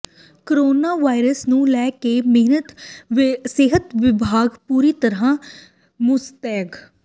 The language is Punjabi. ਕੋਰੋਨਾ ਵਾਇਰਸ ਨੂੰ ਲੈ ਕੇ ਸਿਹਤ ਵਿਭਾਗ ਪੂਰੀ ਤਰ੍ਹਾਂ ਮੁਸਤੈਦ